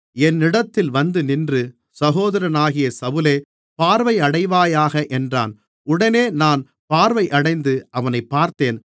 என்னிடத்தில் வந்துநின்று சகோதரனாகிய சவுலே பார்வையடைவாயாக என்றான் உடனே நான் பார்வையடைந்து அவனைப் பார்த்தேன்